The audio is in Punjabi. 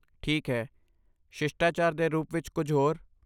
ਠੀਕ ਹੈ, ਸ਼ਿਸ਼ਟਾਚਾਰ ਦੇ ਰੂਪ ਵਿੱਚ ਕੁਝ ਹੋਰ?